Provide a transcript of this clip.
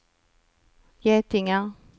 getingar